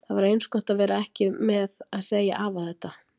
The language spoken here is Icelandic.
Það var eins gott að vera ekki að segja afa þetta með